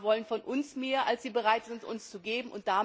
Die USA wollen von uns mehr, als sie bereit sind, uns zu geben.